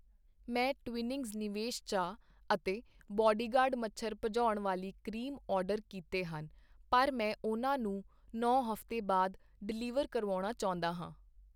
ਮੈਂ ਤਵਿੰਨ੍ਹਈਂਗਸ ਨਿਵੇਸ਼ ਚਾਹ ਅਤੇ ਬਾਡੀਗਾਰਡ ਮੱਛਰ ਭਜਾਉਣ ਵਾਲੀ ਕਰੀਮ ਆਰਡਰ ਕੀਤੇ ਹਨ ਪਰ ਮੈਂ ਉਹਨਾਂ ਨੂੰ ਨੌਂ ਹਫ਼ਤਾ ਬਾਅਦ ਡਿਲੀਵਰ ਕਰਵਾਉਣਾ ਚਾਹੁੰਦਾ ਹਾਂ I